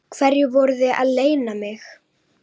Hverju voruð þið að leyna mig?